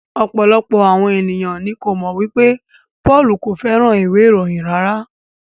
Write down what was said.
Ọ̀pọ̀lọpọ̀ àwọn ènìyàn ní ko mọ wipe Pọ́lù ko fẹràn ìwé ìròyìn rárá.